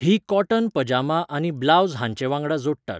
हीं कॉटन पजामा आनी ब्लावज हांचे वांगडा जोडटात.